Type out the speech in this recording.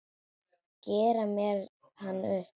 Gera mér hann upp?